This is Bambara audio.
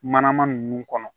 Manama ninnu kɔnɔ